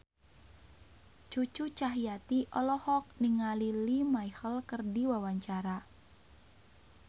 Cucu Cahyati olohok ningali Lea Michele keur diwawancara